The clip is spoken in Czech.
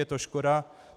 Je to škoda.